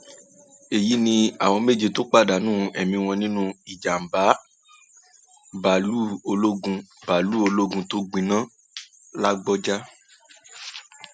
èyí ni àwọn méje tó pàdánù ẹmí wọn nínú ìjàmbá báàlúù ológun báàlúù ológun tó gbiná làbójà